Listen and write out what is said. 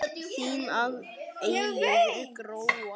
Þín að eilífu, Gróa.